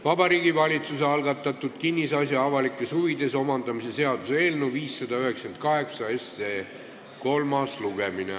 Vabariigi Valitsuse algatatud kinnisasja avalikes huvides omandamise seaduse eelnõu 598 kolmas lugemine.